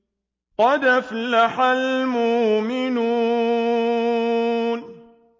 قَدْ أَفْلَحَ الْمُؤْمِنُونَ